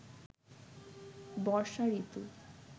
বর্ষা ঋতু